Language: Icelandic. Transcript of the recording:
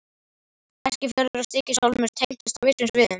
Eskifjörður og Stykkishólmur tengdust á vissum sviðum.